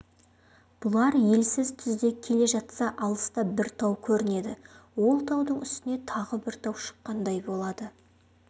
бұлар елсіз түзде келе жатса алыста бір тау көрінеді ол таудың үстіне тағы бір тау шыққандай болады